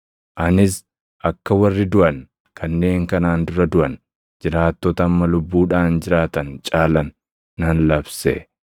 Anis akka warri duʼan, kanneen kanaan dura duʼan, jiraattota amma lubbuudhaan jiraatan caalan nan labse.